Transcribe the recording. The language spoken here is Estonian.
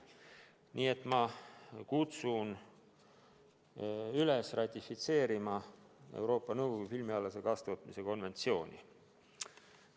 Nii et ma kutsun üles ratifitseerima Euroopa Nõukogu filmialase kaastootmise konventsiooni.